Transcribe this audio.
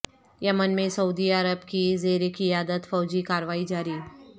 یمن میں سعودی عرب کی زیر قیادت فوجی کاروائی جاری